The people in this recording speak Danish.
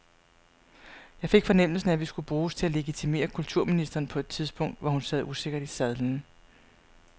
Jeg fik fornemmelsen af, at vi skulle bruges til at legitimere kulturministeren på et tidspunkt, hvor hun sad usikkert i sadlen.